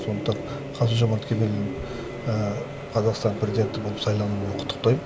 сондықтан қасым жомарт кемелұлын қазақстан президенті болып сайлануымен құтықтайм